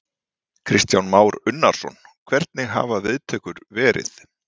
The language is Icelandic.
Kristján Már Unnarsson: Hvernig hafa viðtökur verið?